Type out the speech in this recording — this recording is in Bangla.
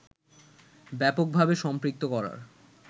ব্যাপকভাবে সম্পৃক্ত করার